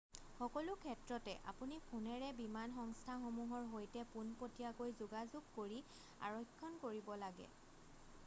সকলো ক্ষেত্ৰতে আপুনি ফোনেৰে বিমান সংস্থাসমূহৰ সৈতে পোনপটীয়াকৈ যোগাযোগ কৰি আৰক্ষণ কৰিব লাগে